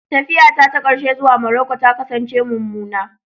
Tafiyata ta ƙarshe zuwa Maroko ta kasance mummuna.